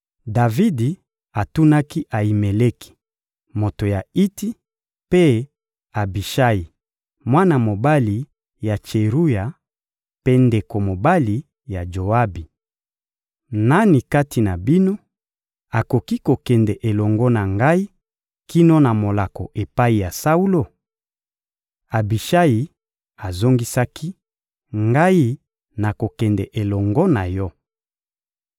Davidi atunaki Ayimeleki, moto ya Iti, mpe Abishayi, mwana mobali ya Tseruya mpe ndeko mobali ya Joabi: — Nani kati na bino akoki kokende elongo na ngai kino na molako epai ya Saulo? Abishayi azongisaki: — Ngai, nakokende elongo na yo.